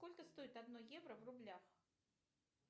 сколько стоит одно евро в рублях